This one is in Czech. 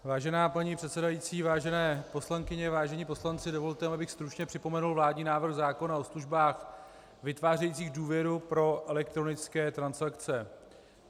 Vážená paní předsedající, vážené poslankyně, vážení poslanci, dovolte mi, abych stručně připomenul vládní návrh zákona o službách vytvářejících důvěru pro elektronické transakce.